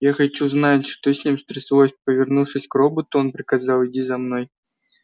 я хочу знать что с ним стряслось повернувшись к роботу он приказал иди за мной